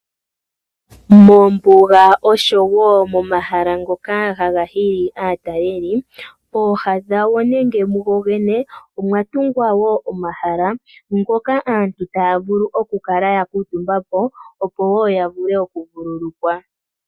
Moombuga oshowo momahala ngoka ha ga hili aataleli, pooha dhago nenge mu go gene omwa tungwa wo omahala ngoka aantu taya vulu okukala ya kuutumba po, opo wo ya vule okuvululukwa.